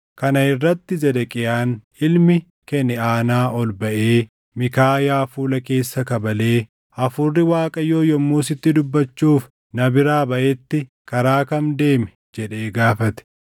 Kana irratti Zedeqiyaan ilmi Keniʼaanaa ol baʼee Miikaayaa fuula keessa kabalee, “Hafuurri Waaqayyoo yommuu sitti dubbachuuf na biraa baʼetti karaa kam deeme?” jedhee gaafate.